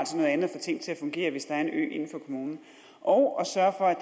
få ting til at fungere hvis der er en ø inden for kommunen og at sørge for